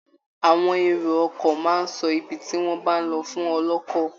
Àwọn èrò ọkọ̀ máa ń sọ ibi tí wọ́n bá ń lọ fún ọlọ́kọ̀